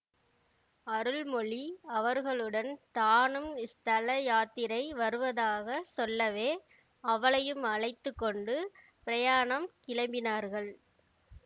அருள்மொழி அவர்களுடன் தானும் ஸ்தல யாத்திரை வருவதாக சொல்லவே அவளையும் அழைத்து கொண்டு பிரயாணம் கிளம்பினார்கள்